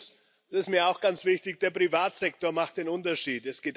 Und drittens ist mir auch ganz wichtig Der Privatsektor macht den Unterschied.